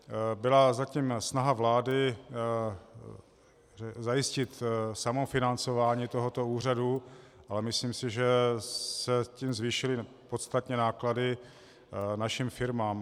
Byla zatím snaha vlády zajistit samofinancování tohoto úřadu, ale myslím si, že se tím zvýšily podstatně náklady našim firmám.